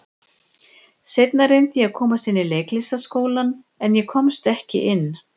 Seinna reyndi ég að komast inn í Leiklistarskólann, en ég komst ekki inn.